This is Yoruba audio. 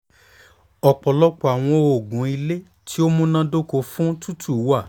ọpọlọpọ awọn oogun ile ti o munadoko fun tutu wa